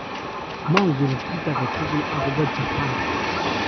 manget kiy tugul akobo japan